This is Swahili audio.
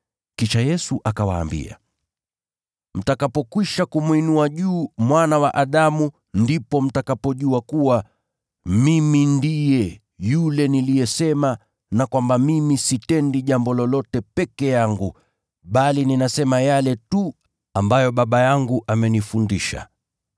Kisha Yesu akawaambia, “Mtakapokwisha kumwinua juu Mwana wa Adamu, ndipo mtakapojua kuwa, ‘Mimi ndiye yule niliyesema na kwamba mimi sitendi jambo lolote peke yangu bali ninasema yale tu ambayo Baba yangu amenifundisha.